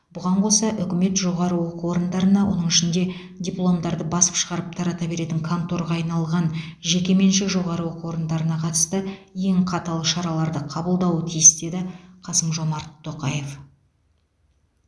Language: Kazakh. бұған қоса үкімет жоғары оқу орындарына оның ішінде дипломдарды басып шығарып тарата беретін конторға айналған жекеменшік жоғары оқу орындарына қатысты ең қатал шараларды қабылдауы тиіс деді қасым жомарт тоқаев